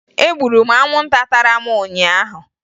Egburu m anwụnta tara m ụnyaahụ